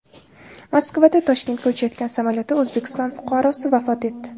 Moskvadan Toshkentga uchayotgan samolyotda O‘zbekiston fuqarosi vafot etdi.